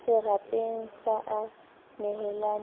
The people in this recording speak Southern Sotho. serapeng sa a a nehelane